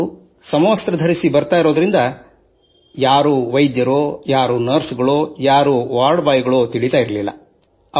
ಅವರು ತಮ್ಮ ಸಮವಸ್ತ್ರ ಧರಿಸಿ ಬರುತ್ತಿದ್ದುದರಿಂದ ಅವರು ವೈದ್ಯರೇ ನರ್ಸೆ ಅಥವಾ ವಾರ್ಡ್ ಬಾಯ್ ಎಂದು ತಿಳಿಯುತ್ತಿರಲಿಲ್ಲ